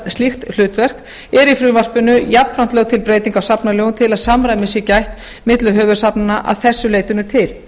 hlutverk er í frumvarpinu jafnframt lögð til breytingu á safnalögum til að samræmis sé gætt milli höfuðsafnanna að þessu leyti til